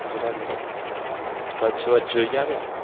ગુજરાતમાં કચ્છ બચ્ચ જોઈ આવ્યા